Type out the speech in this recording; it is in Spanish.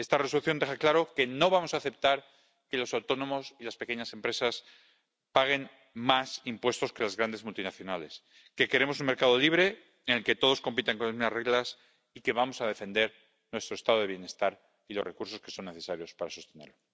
Esta Resolución deja claro que no vamos a aceptar que los autónomos y las pequeñas empresas paguen más impuestos que las grandes multinacionales, que queremos un mercado libre en el que todos compitan con las mismas reglas y que vamos a defender nuestro Estado de bienestar y los recursos que son necesarios para sostenerlo.